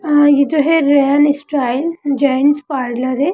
हाँ ये जो है रेयन स्टाइल जेंट्स पार्लर है।